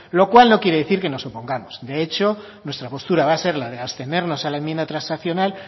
lo cual no quiere decir que nos opongamos de hecho nuestra postura va a ser la de abstenernos a la enmienda transaccional